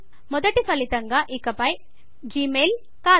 మొదటి ఫలితంగా ఇకపై జిమెయిల్ కాదు